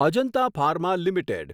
Ajanta pharma limited